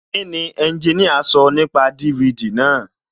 Kíni ẹnjiníà sọ nípa DVD náà?